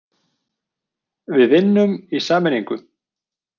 Við vinnum í sameiningu.